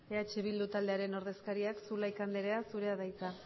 eh bildu taldearen ordezkaria zulaika andrea zurea da hitza